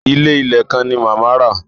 Ilé ìlẹ̀ kan ni màmá rà.